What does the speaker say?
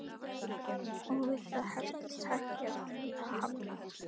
Og við það hertist takið sem Fía hafði á